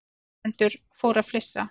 Áhorfendur fóru að flissa.